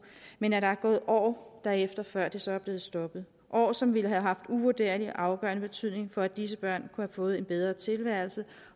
men at der er gået år derefter før det så er blevet stoppet år som ville have haft uvurderlig og afgørende betydning for at disse børn kunne have fået en bedre tilværelse